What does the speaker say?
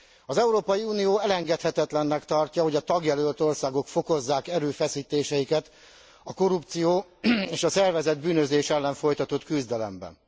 Az Európai Unió elengedhetetlennek tartja, hogy a tagjelölt országok fokozzák erőfeszítéseiket a korrupció és a szervezett bűnözés ellen folytatott küzdelemben.